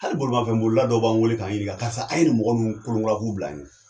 Hali bolimafɛn boli la dɔ b'an wele k'an ɲininka karisa a ye mɔgɔ ninnu kolo kura ye k'a bila an ye.